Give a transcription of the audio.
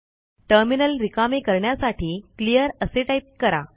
terminal रिकामे करण्यासाठी clear असे टाईप करा